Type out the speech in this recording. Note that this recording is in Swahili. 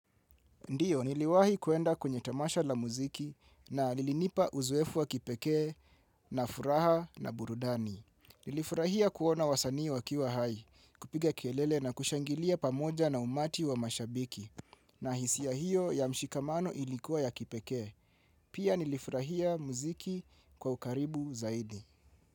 Ndiyo, niliwahi kuenda kwenye tamasha la muziki na lilinipa uzoefu wa kipekee na furaha na burudani. Nilifurahia kuona wasanii wakiwa hai, kupiga kelele na kushangilia pamoja na umati wa mashabiki. Na hisia hiyo ya mshikamano ilikuwa ya kipeke. Pia nilifurahia muziki kwa ukaribu zaidi.